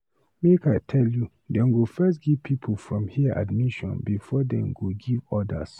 Make I tell you, dem go first give pipu from here admission before dem go give others.